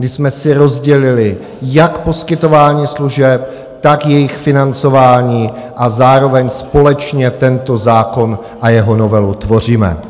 My jsme si rozdělili jak poskytování služeb, tak jejich financování a zároveň společně tento zákon a jeho novelu tvoříme.